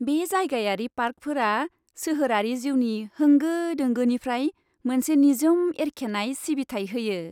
बे जायगायारि पार्कफोरा सोहोरारि जिउनि होंगो दोंगोनिफ्राय मोनसे निजोम एरखेनाय सिबिथाइ होयो।